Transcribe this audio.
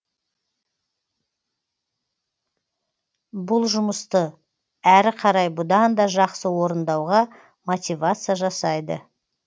бұл жұмысты әрі қарай бұдан да жақсы орындауға мотивация жасайды